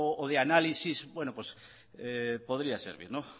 o de análisis podría servir